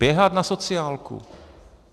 Běhat na sociálku.